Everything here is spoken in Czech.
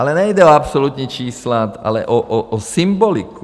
Ale nejde o absolutní čísla, ale o symboliku.